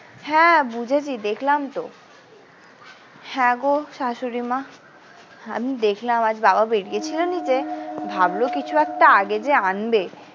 হ্যাঁ বুঝেছি দেখলাম তো হ্যাঁ গো শাশুড়িমা আমি দেখলাম আজ বাবা বেরিয়ে ছিলেন যে ভাবল কিছু একটা আগে যে আনবে।